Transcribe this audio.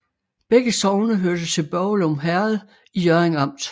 Begge sogne hørte til Børglum Herred i Hjørring Amt